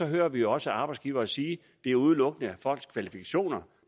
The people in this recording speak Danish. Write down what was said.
hører vi jo også arbejdsgivere sige at det udelukkende er folks kvalifikationer